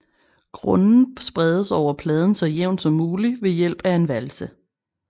Grunden spredes over pladen så jævnt som muligt ved hjælp af en valse